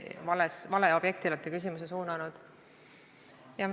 Valele objektile olete küsimuse suunanud.